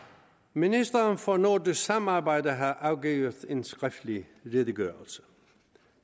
ministeren for nordisk samarbejde har afgivet en skriftlig redegørelse